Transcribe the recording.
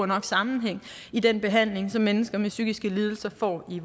nok sammenhæng i den behandling som mennesker med psykiske lidelser får i